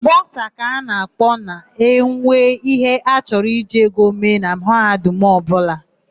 Bọsa ka a ga-akpọ ma enwe íhé a chọrọ iji ego eme na mahadum ọbụla.